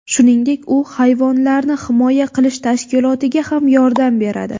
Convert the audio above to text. Shuningdek, u hayvonlarni himoya qilish tashkilotiga ham yordam beradi.